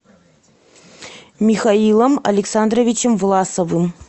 михаилом александровичем власовым